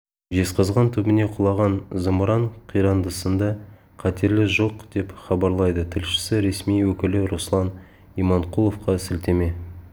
жезқазған түбіне құлаған зымыран қирандысында қатерлі жоқ деп хабарлайды тілшісі ресми өкілі руслан иманқұловқа сілтеме